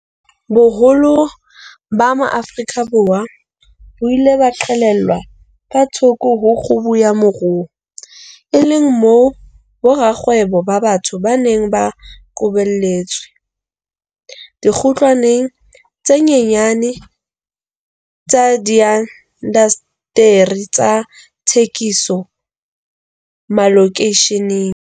Boholo ba Maafrika Borwa bo ile ba qhelelwa ka thoko ho kgubu ya moruo, e le moo borakgwebo ba batsho ba neng ba qobelletswe dikgutlwaneng tse nyenyane tsa diindasteri tsa thekiso malokeisheneng.